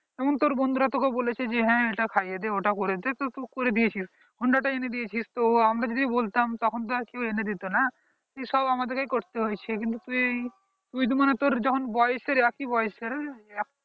বন্ধুরা তোকে বলেছে যে হ্যাঁ এটা খাইয়ে ওটা করে দে তুই করে দিয়েছিস তো আমরা যদি বলতাম তখন তো আর কেউ এনে দিত না দিয়ে সব আমাদেরকেই করতে হয়েছে কিন্তু দিয়ে তুই তুই মানে তোর যখন বয়সে একই বয়সের